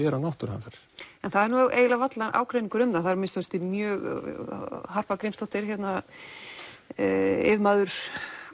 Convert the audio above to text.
vera náttúruhamfarir það er nú eiginlega varla ágreiningur um það það er að minnsta kosti mjög Harpa Grímsdóttir yfirmaður